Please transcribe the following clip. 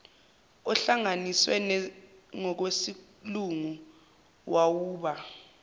ohlanganiswe ngokwesilungu wawuba